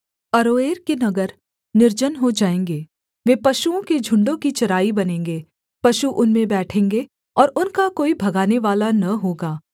अरोएर के नगर निर्जन हो जाएँगे वे पशुओं के झुण्डों की चराई बनेंगे पशु उनमें बैठेंगे और उनका कोई भगानेवाला न होगा